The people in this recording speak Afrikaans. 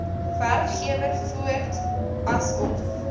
werkgewer voort asof